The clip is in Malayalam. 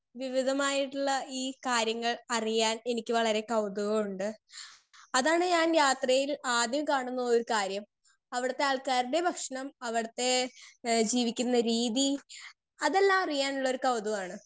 സ്പീക്കർ 2 വിവിധമായിട്ടുള്ള ഈ കാര്യങ്ങൾ അറിയാൻ എനിക്ക് വളരെ കൗതുകവുണ്ട്.അതാണ് ഞാൻ യാത്രയിൽ ആദ്യം കാണുന്ന ഒരു കാര്യം അവിടുത്തെ ആൾക്കാരിടെ ഭക്ഷണം അവിടത്തെ വെൽ ജീവിക്കുന്ന രീതി അതെല്ലാ അറിയാനുള്ള ഒരു കൗതുവാണ്.